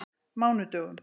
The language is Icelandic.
mánudögum